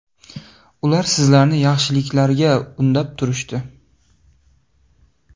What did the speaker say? Ular sizlarni yaxshiliklarga undab turishdi.